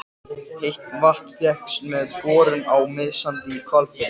Heitt vatn fékkst með borun á Miðsandi í Hvalfirði.